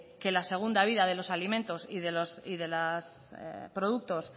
que la segunda vida de los alimentos y de los productos